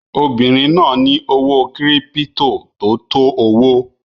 Obinrin naa ni owo kiripito to to owo